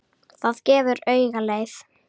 Það gefur auga leið.